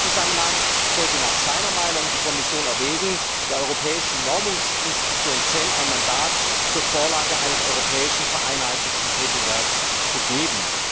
In diesem Zusammenhang sollte nach seiner Meinung die Kommission erwägen, der europäischen Normungsinstitution CDE ein Mandat zur Vorlage eines vereinheitlichten europäischen Regelwerks zu geben.